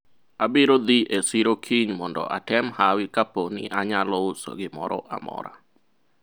abiro dhi e siro kiny mondo atem hawi kapo ni anyalo uso gimoro amora